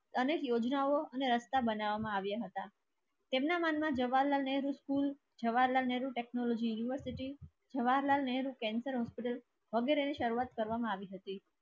તને યોજનાઓ અને રસ્તા બનાવવામાં આવ્યા હતા. એમના મનમાં Jawaharlal Nehru school Jawaharlal Nehru technology university Jawaharlal Nehru cancer hospital વગેરેની શરૂઆત કરવામાં આવી હતી.